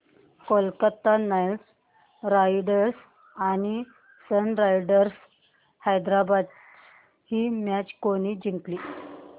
Kolkata Knight Riders आणि Sunrisers Hyderabad ही match कोणी जिंकली